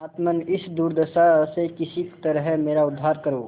परमात्मन इस दुर्दशा से किसी तरह मेरा उद्धार करो